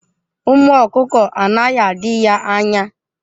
Ụmụ ọkụkọ anaghị adị ya anya.